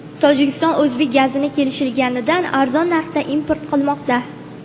Tojikiston o‘zbek gazini kelishilganidan arzon narxda import qilmoqda.